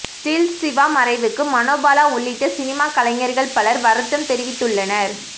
stills Siva மறைவுக்கு மனோபாலா உள்ளிட்ட cinema கலைஞர்கள் பலர் வருத்தம் தெரிவித்துள்ளனர்